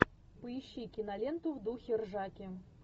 поищи киноленту в духе ржаки